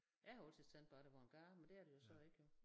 Jeg har altid tænkt bare det var en gade men det er det jo så ikke jo